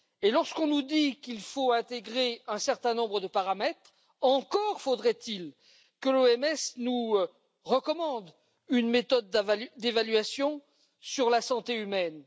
Lorsqu'on nous dit qu'il faut intégrer un certain nombre de paramètres, encore faudrait il que l'OMS nous recommande une méthode d'évaluation sur la santé humaine.